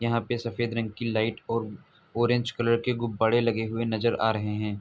यहां पर सफेद रंग की लाइट औरऑरेंज कलर के गुब्बारे लगे हुए नजर आ रहे हैं|